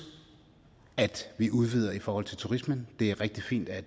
at vi udvider i forhold til turismen det er rigtig fint at